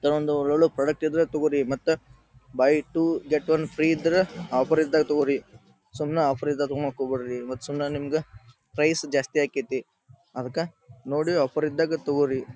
ಈ ತರ ಒಂದು ಒಳ್ಳೊಳ್ಳೆ ಪ್ರಾಡಕ್ಟ್ ಇದ್ರ ತಗೋರಿ ಮತ್ತ buy two get one free ಇದ್ರ ಆಫರ್ ಇದ್ದಾಗ ತಗೋರಿ ಸುಮ್ನ ಆಫರ್ ಇದ್ದಾಗ ತೊಗೋಣಾಕ್ ಹೋಗಬ್ಯಾಡ್ರಿ ಸುಮ್ನೆ ನಿಮ್ಗ ಪ್ರೈಸ್ ಜಾಸ್ತಿ ಆಕ್ಕೆತಿ. ಅಡ್ಡಕ್ಕ ನೋಡಿ ಆಫರ್ ಇದ್ದಾಗ ತೊಗೋರಿ .